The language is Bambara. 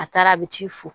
A taara a bɛ t'i fo